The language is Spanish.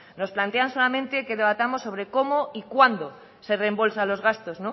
nos plantean solamente que debatamos sobre cómo y cuándo se reembolsan los gastos